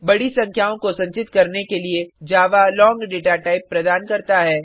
बडी संख्याओं को संचित करने के लिए जावा लोंग डेटा टाइप प्रदान करता है